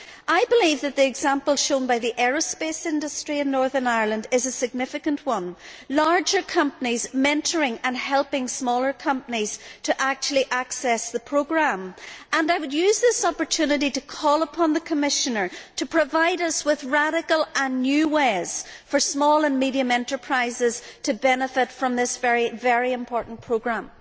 I believe that the example shown by the aerospace industry in Northern Ireland is a significant one larger companies mentoring and helping smaller companies to actually access the programme and I would use this opportunity to call upon the Commissioner to provide us with radical and new ways for small and medium sized enterprises to benefit from this very important programme.